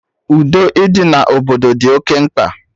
Udo ịdị na obodo dị oké mkpa